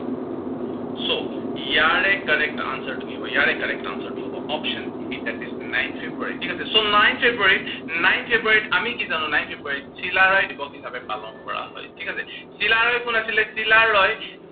so ইয়াৰে correct answer টো কি হব? ইয়াৰে correct answer টো হব option A, that is nine February ঠিক আছে। so nine February, nine February ত আমি কি জানো, nine February ত চিলাৰায় দিৱস হিচাপে পালন কৰা হয়, ঠিক আছে। চিলাৰায় কোন আছিলে, চিলাৰয়